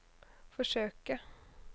forsøke